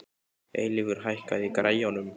Eilífur, hækkaðu í græjunum.